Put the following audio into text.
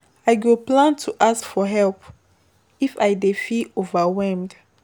I plan to ask for help if I dey feel overwhelmed.